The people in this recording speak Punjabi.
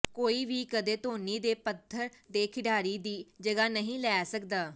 ਕੋਈ ਵੀ ਕਦੇ ਧੋਨੀ ਦੇ ਪੱਧਰ ਦੇ ਖਿਡਾਰੀ ਦੀ ਜਗ੍ਹਾ ਨਹੀਂ ਲੈ ਸਕਦਾ